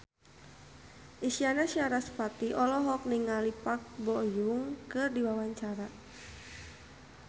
Isyana Sarasvati olohok ningali Park Bo Yung keur diwawancara